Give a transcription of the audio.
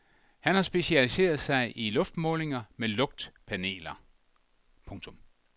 Han har specialiseret sig i luftmålinger med lugtpaneler. punktum